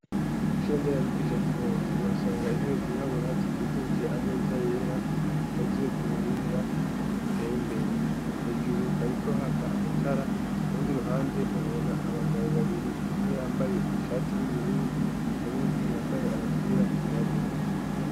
kw'ishure nderabigisha ry'i Ngozi uhasanga intebe zirabura zikikuje ameza yera zikoze ku buhinga buteye imbere ,hejuru hariko haka amatara urundi ruhande uhabona abagabo babiri umwe yambaye ishati y'ubururu uwundi yambaye agapira kirabura.